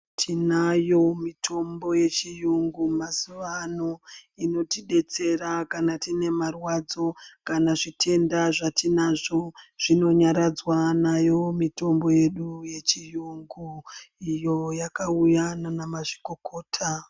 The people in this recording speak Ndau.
Tinayo mitombo yechiyungu mazuva ano inotidetsera kana tine marwadzo kana zvitenda zvatinazvo zvinonyaradzwaa nayo mitombo yedu iyi yechiyungu iyo yakauya nana mazvikokota.